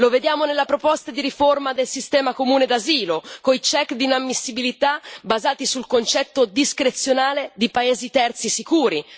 Lo vediamo nella proposta di riforma del sistema comune d'asilo, con i check di inammissibilità basati sul concetto discrezionale di paesi terzi sicuri